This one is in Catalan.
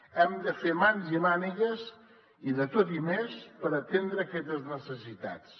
hem de fer mans i mànigues i de tot i més per atendre aquestes necessitats